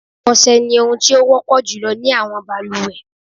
Ọ̀sẹ ni ohun tí ó wọ́pọ̀ jùlọ ní àwọn balùwẹ̀.